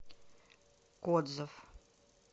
кодзов